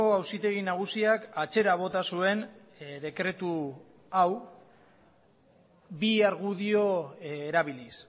auzitegi nagusiak atzera bota zuen dekretu hau bi argudio erabiliz